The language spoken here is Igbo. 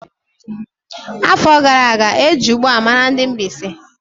Afọ gara aga, eji ugba mara ndị Mbaise.